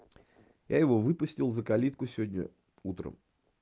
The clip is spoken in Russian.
я его выпустил за калитку сегодня утром